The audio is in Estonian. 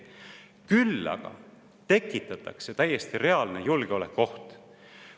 Küll aga tekitatakse täiesti reaalne julgeolekuoht.